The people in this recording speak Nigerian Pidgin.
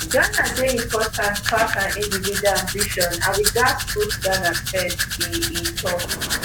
ghana dey important pass our individual ambition and we gatz put ghana first e e tok